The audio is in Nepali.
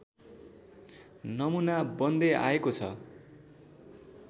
नमुना बन्दै आएको छ